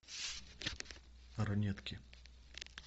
ранетки